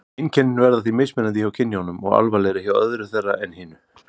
Einkennin verða því mismunandi hjá kynjunum og alvarlegri hjá öðru þeirra en hinu.